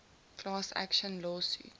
class action lawsuit